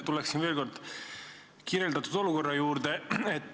Tulen veel kord kirjeldatud olukorra juurde.